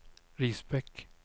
Risbäck